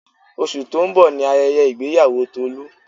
Oṣù tó ń bọ̀ ni ayẹyẹ ìgbéyàwó Tolu